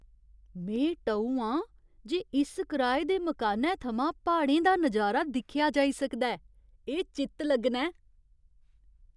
में टऊ आं जे इस कराए दे मकानै थमां प्हाड़ें दा नजारा दिक्खेआ जाई सकदा ऐ। एह् चित्त लग्गना ऐ!